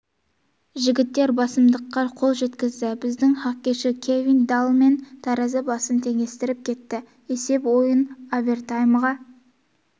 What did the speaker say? жігіттер басымдыққа қол жеткізді біздің хоккейші кевин даллман таразы басын теңестіріп кетті есеп ойын овертаймға